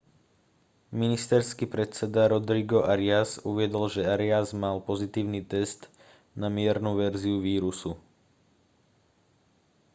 ministerský predseda rodrigo arias uviedol že arias mal pozitívny test na miernu verziu vírusu